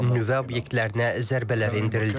Nüvə obyektlərinə zərbələr endirildi.